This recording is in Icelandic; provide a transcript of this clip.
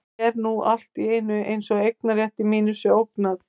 En nú er allt í einu eins og eignarrétti mínum sé ógnað.